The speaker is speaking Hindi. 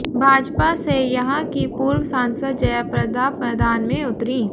भाजपा से यहां की पूर्व सांसद जयाप्रदा मैदान में उतरीं